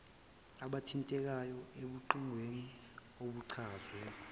abathintekayo ebugebengwini obuchazwe